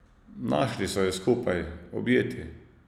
Našli so ju skupaj, objeti.